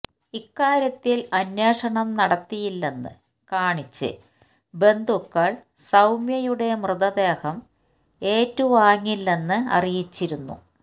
ഇക്കാര്യത്തിൽ അന്വേഷണം നടത്തിയില്ലെന്ന് കാണിച്ച് ബന്ധുക്കൾ സൌമ്യയുടെ മൃതദേഹം ഏറ്റുവാങ്ങില്ലെന്ന് അറിയിച്ചിരുന്നു